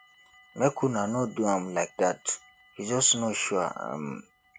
make una no do am like dat he just no sure um